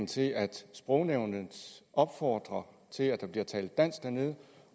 til at sprognævnet opfordrer til at der bliver talt dansk dernede